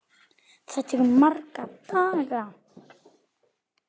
Það tekur marga daga!